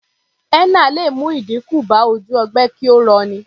Henna lè mú ìdínkù bá ojú ogbe kí ó rọ ní.